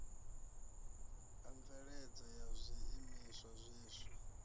a mveledzo ya zwiimiswa zwiswa